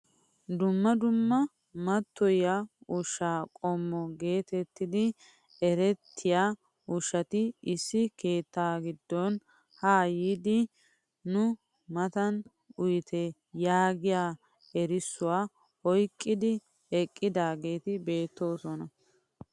Dumma dumma mattoyiyaa ushshaa qommo getettidi erettiyaa ushshati issi keettaa giddon haa yiidi nu matan uyite yaagiyaa erissuwaa oyqqidi eqqidaageti beettoosona.